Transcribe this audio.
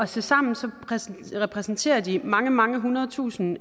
tilsammen repræsenterer de mange mange hundrede tusind